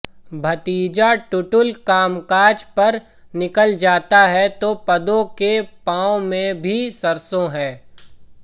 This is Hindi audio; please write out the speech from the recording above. भतीजा टुटुल कामकाज पर निकल जाता है तो पद्दो के पांव में भी सरसों हैं